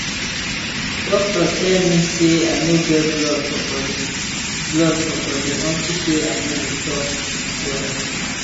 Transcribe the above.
doctor tell me say i no get blood for body blood for body unto say i no dey chop well